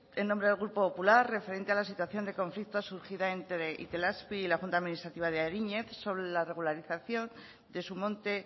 en nombre del grupo popular referente a la situación de conflicto surgida entre itelazpi y la junta administrativa de ariñez sobre la regularización de su monte